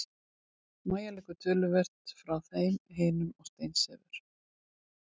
Mæja liggur töluvert frá þeim hinum og steinsefur.